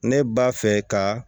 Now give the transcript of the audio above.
Ne b'a fɛ ka